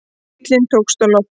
Bíllinn tókst á loft